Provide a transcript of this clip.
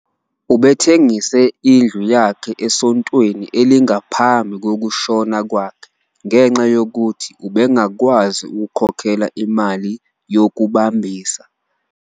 Ubethengise indlu yakhe esontweni elingaphambi kokushona kwakhe ngenxa yokuthi ubengakwazi ukukhokhela imali yokubambisa.